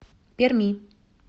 перми